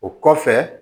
O kɔfɛ